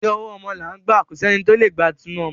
Ti ọwọ́ ọmọ là ń gbà, kò sẹ́ni tí o lè gba tinu ọmọ.